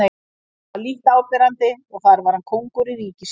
En það var lítt áberandi og þar var hann kóngur í ríki sínu.